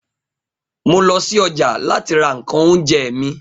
mo lo si oja lati ra nkan ounje mi